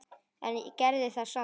En gerði það samt.